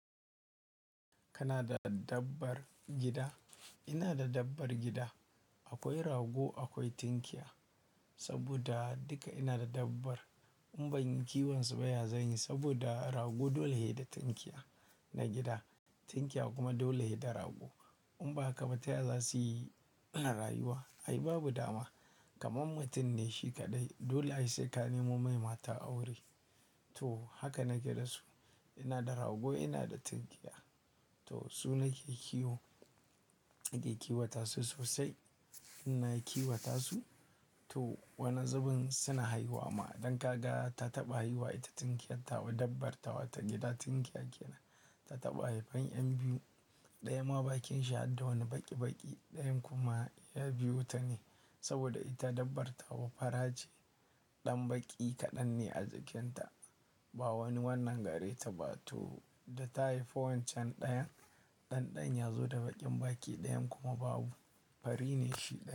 Kana da dabbar gida? Ina da dabbar gida. Akwai rago, akwai tinkiya saboda duka ina da dabbar. In ban yi kiwonsu baya zanyi saboda rago dole he da tinkiya na gida. Tinkiya kuma dole yayi da rago. In ba haka ba taya za suyi rayuwa. Ai babu dama, kaman mutum ne shi kaɗai. Dole ai sai ka nemo mai mata aure. To haka nake da su. Ina da rago, ina da tinkiya. To su nake kiwo, nake kiwata su sosai. Ina kiwata su. To wani zubin suna haihuwa ma. Dan kaga ta taɓa haihuwa, ita tinkiyar tawa dabbartawa ta gida. Tinkiya kenan ta taɓa haifan 'yan biyu. Ɗaya ma bakin shi hadda wani baƙi-baƙi. Ɗayan kuma ya biyo ta ne saboda ita dabbartawa fara ce. Ɗan baƙi kaɗan ne a jikin ta. Ba wani wannan gare ta ba. To da ta haifo wancan ɗayan, ɗan ɗan ya zo da baƙin baƙi. Ɗayan kuma babu, fari ne shi ɗayan.